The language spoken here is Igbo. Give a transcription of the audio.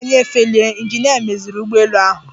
Tupu anyị efelie, ịnjinịa meziri ụgbọelu ahụ.